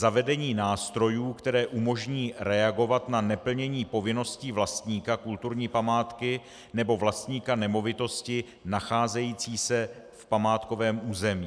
Zavedení nástrojů, které umožní reagovat na neplnění povinností vlastníka kulturní památky nebo vlastníka nemovitosti nacházející se v památkovém území.